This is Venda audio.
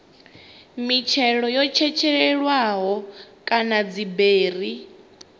mitshelo yo tshetshelelwaho kana dziberi